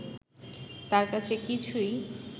তার কাছে কিছুই